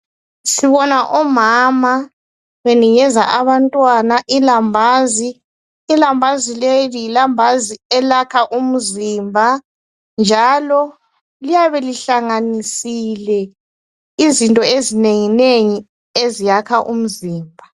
Sibona omama, benikeza abantwana ilambazi. Ilambazi leli, lilambazi elakha umzimba, njalo liyabe lihlanganisile, izinto ezinenginengi, eziyakha umzimba.